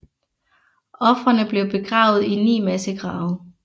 Ofrene blev begravet i ni massegrave